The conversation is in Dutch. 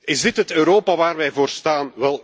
Is dit het Europa waar wij voor staan?